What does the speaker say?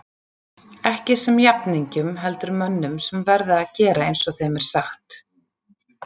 Ekki sem jafningjum heldur mönnum sem verða að gera eins og þeim er sagt.